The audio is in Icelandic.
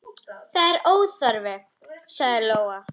Það er óþarfi, sagði Lóa.